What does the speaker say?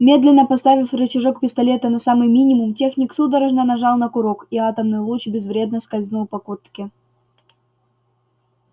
медленно поставив рычажок пистолета на самый минимум техник судорожно нажал на курок и атомный луч безвредно скользнул по куртке